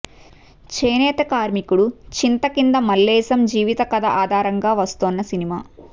చేనేత కార్మికుడు చింతకింద మల్లేశం జీవిత కథ ఆధారంగా వస్తోన్న సినిమా